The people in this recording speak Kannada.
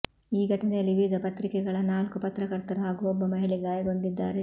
ಈ ಘಟನೆಯಲ್ಲಿ ವಿವಿಧ ಪತ್ರಿಕೆಗಳ ನಾಲ್ಕು ಪತ್ರಕರ್ತರು ಹಾಗೂ ಒಬ್ಬ ಮಹಿಳೆ ಗಾಯಗೊಂಡಿದ್ದಾರೆ